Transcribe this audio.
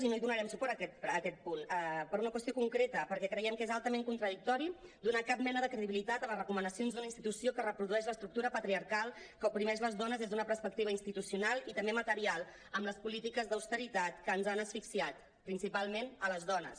i no hi donarem suport a aquest punt per una qüestió concreta perquè creiem que és altament contradictori donar cap mena de credibilitat a les recomanacions d’una institució que reprodueix l’estructura patriarcal que oprimeix les dones des d’una perspectiva institucional i també material amb les polítiques d’austeritat que ens han asfixiat principalment a les dones